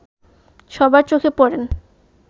সবার চোখে পড়েন